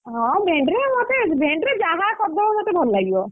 ହଁ ଭେଣ୍ଡିରେ ମତେ ଭେଣ୍ଡିରେ ଯାହା ସବୁ ହବ ମତେ ଭଲ ଲାଗିବ।